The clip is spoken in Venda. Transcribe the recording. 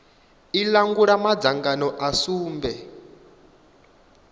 i langula madzangano a sumbe